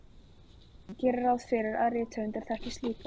Ég geri ráð fyrir að rithöfundar þekkist líka.